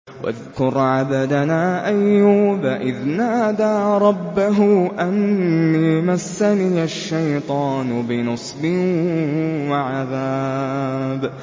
وَاذْكُرْ عَبْدَنَا أَيُّوبَ إِذْ نَادَىٰ رَبَّهُ أَنِّي مَسَّنِيَ الشَّيْطَانُ بِنُصْبٍ وَعَذَابٍ